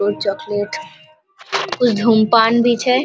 और चॉकलेट कुछ धूम्रपान भी छै ।